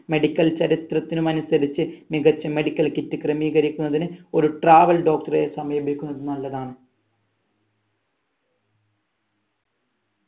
medical ചരിത്രത്തിൽ അനുസരിച് മികച്ച medical kit ക്രമീകരിക്കുന്നതിന് ഒരു travel doctor എ സമീപിക്കുന്നത് നല്ലതാണ്